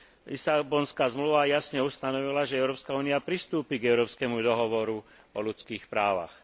Lisabonská zmluva jasne ustanovila, že Európska únia pristúpi k Európskemu dohovoru o ľudských právach.